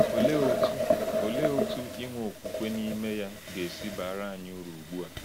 Olee otú Olee otú inwe okwukwe n’ime ya ga-esi baara anyị uru ugbu a?